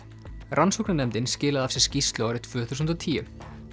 rannsóknarnefndin skilaði af sér skýrslu árið tvö þúsund og tíu